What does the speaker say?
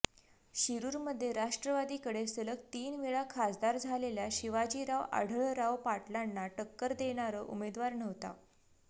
शिरूरमध्ये राष्ट्रवादीकडे सलग तीन वेळा खासदार झालेल्या शिवाजीराव आढळराव पाटलांना टक्कर देणार उमेदवार नव्हता